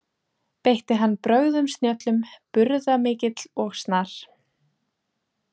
Beitti hann brögðum snjöllum burðamikill og snar.